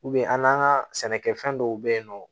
an n'an ka sɛnɛkɛfɛn dɔw be yen nɔ